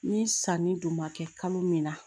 Ni sanni dun ma kɛ kalo min na